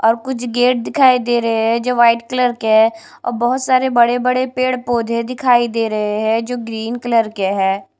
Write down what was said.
और कुछ गेट दिखाई दे रहे हैं जो वाइट कलर के हैं और बहुत सारे बड़े-बड़े पेड़ पौधे दिखाई दे रहे हैं जो ग्रीन कलर के हैं।